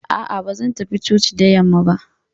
A'a, ba zan tafi coci da yamma ba.